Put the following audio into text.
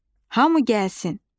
Hamı gəlsin.